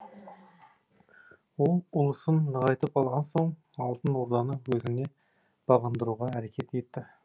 ол ұлысын нығайтып алған соң алтын орданы өзіне бағындыруға әрекет етті